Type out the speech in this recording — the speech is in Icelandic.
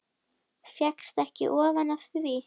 Fékkst ekki ofan af því.